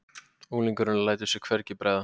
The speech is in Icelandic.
Unglingurinn lætur sér hvergi bregða.